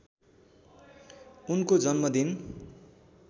उनको जन्म दिन